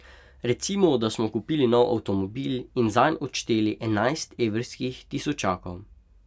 Recimo, da smo kupili nov avtomobil in zanj odšteli enajst evrskih tisočakov.